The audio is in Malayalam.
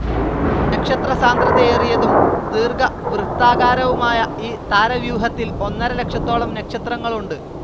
നക്ഷത്രസാന്ദ്രതയേറിയതും ദീർഘവൃത്താകാരവുമായ ഈ താരവ്യൂഹത്തിൽ ഒന്നര ലക്ഷത്തോളം നക്ഷത്രങ്ങളുണ്ട്.